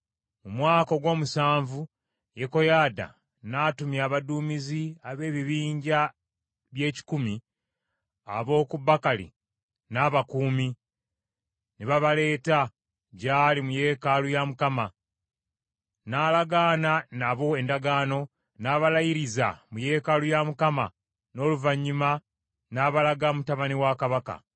Mu mwaka ogw’omusanvu Yekoyaada n’atumya abaduumizi ab’ebibinja by’ekikumi, ab’oku Bakali n’abakuumi, ne babaleeta gy’ali mu yeekaalu ya Mukama . N’alagaana nabo endagaano, n’abalayiriza mu yeekaalu ya Mukama , n’oluvannyuma n’abalaga mutabani wa kabaka.